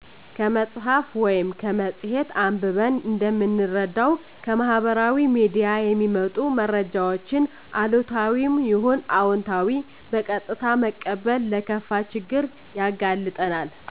ከመፅሀፍ ወይም ከመፅሔት አንብበን እንደምንረዳው ከማህበራዊ ሚዲያ የሚመጡ መረጃወችን አሉታዊም ይሁን አወንታዊ በቀጥታ መቀበል ለከፋ ችግር ያጋልጠናል።